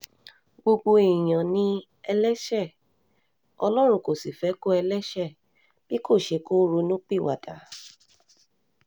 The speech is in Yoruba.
gbogbo èèyàn ni ẹlẹ́ṣẹ̀ ọlọ́run kò sì fẹ́ ikú ẹlẹ́ṣẹ̀ bí kò ṣe kó ronúpìwàdà